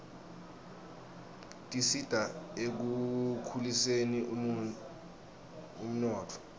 tisita ekukhuliseni umnotfo